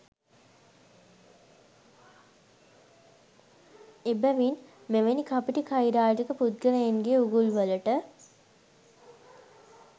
එබැවින් මෙවැනි කපටි කයිරාටික පුද්ගලයන්ගේ උගුල්වලට